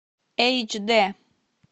эйч дэ